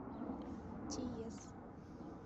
тиес